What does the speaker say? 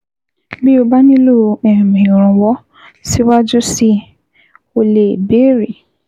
Bí o bá nílò um ìrànwọ́ síwájú síi, o lè béèrè